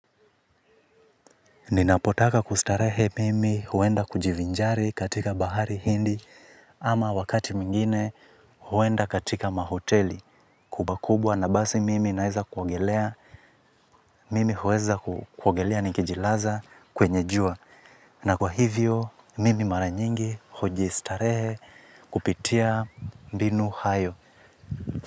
Ninapotaka kustarehe mimi huenda kujivinjari katika bahari hindi ama wakati mwingine huenda katika mahoteli kubwa kubwa na basi mimi naeza kuogelea mimi huweza kuogelea nikijilaza kwenye jua. Na kwa hivyo mimi mara nyingi hujistarehe kupitia mbinu hayo.